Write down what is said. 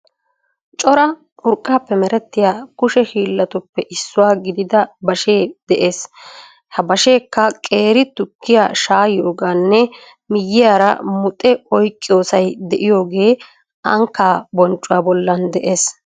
Cora urqaappe meretiya kushe miishatuppe issuwa gidida bashee de'ees. He basheekka qeeri tukkiya shaayiyoogaanne miyiyaara muxxe oyqqiyoosay de"iyoogee ankkaa bonccuwa bollan de'ees.